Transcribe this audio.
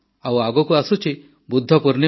ଆଗକୁ ଅଛି ବୁଦ୍ଧ ପୂର୍ଣ୍ଣିମା